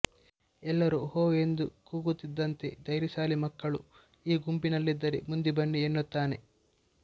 ಎಲ್ಲರೂ ಹೋ ಎಂದು ಕೂಗುತ್ತಿದ್ದಂತೆ ಧೈರ್ಯಶಾಲಿ ಮಕ್ಕಳು ಈ ಗುಂಪಿನಲ್ಲಿದ್ದರೆ ಮುಂದೆ ಬನ್ನಿ ಎನ್ನುತ್ತಾನೆ